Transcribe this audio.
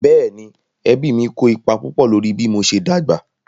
Bẹ́ẹ̀ni, ẹbí mí kó ipa púpọ̀ lórí bí mo ṣe dàgbà